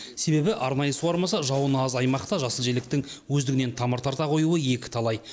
себебі арнайы суармаса жауыны аз аймақта жасыл желектің өздігінен тамыр тарта қоюы екіталай